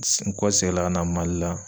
S nkɔseginla ka na Mali la